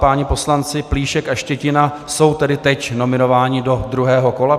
Páni poslanci Plíšek a Štětina jsou tedy teď nominováni do druhého kola.